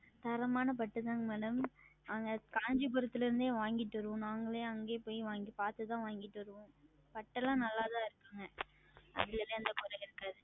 தரமான பட்டு தான் Madam நாங்கள் Kancheepuram இருந்தே வாங்கி கொண்டுவந்து நாங்களே அங்கேயே சென்று பார்த்து தான் வாங்கி கொண்டு வருவோம் பட்டு எல்லாம் நல்லதாக தான் இருக்கும் அதில் எல்லாம் எந்த குறையும் இல்லை